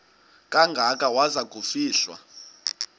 kangaka waza kufihlwa